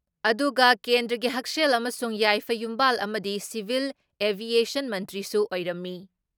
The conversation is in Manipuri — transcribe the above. ꯑꯗꯨꯨꯒ ꯀꯦꯟꯗ꯭ꯔꯒꯤ ꯍꯛꯁꯦꯜ ꯑꯃꯁꯨꯡ ꯌꯥꯏꯐ ꯌꯨꯝꯕꯥꯜ ꯑꯃꯗꯤ ꯁꯤꯚꯤꯜ ꯑꯦꯚꯤꯌꯦꯁꯟ ꯃꯟꯇ꯭ꯔꯤꯁꯨ ꯑꯣꯏꯔꯝꯃꯤ ꯫